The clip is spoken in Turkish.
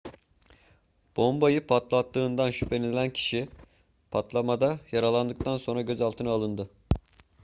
bombayı patlattığından şüphelenilen kişi patlamada yaralandıktan sonra gözaltına alındı